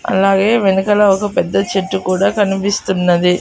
అలాగే వెనకాల ఒక పెద్ద చెట్టు కూడా కనిపిస్తున్నది.